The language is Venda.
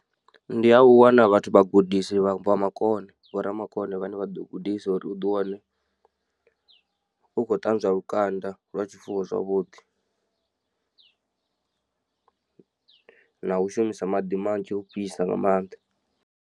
Ndi ha u wana vhathu vhagudisi vha makone vho ramakone vhane vha ḓo gudisa uri uḓi wane u khou ṱanzwa lukanda lwa tshifuwo zwavhuḓi. Na u shumisa maḓi manzhi a u fhisa nga mannḓa.